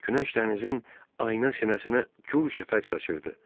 Günəş dənizin ayna sinəsinə gur şəfəq saçırdı.